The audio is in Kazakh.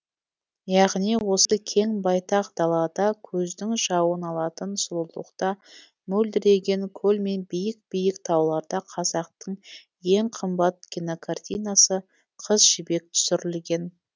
яғни осы кең байтақ далада көздің жауын алатын сұлулықта мөлдіреген көл мен биік биік тауларда қазақтың ең қымбат кинокартинасы қыз жібек түсірілген